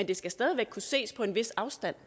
det skal stadig væk kunne ses på en vis afstand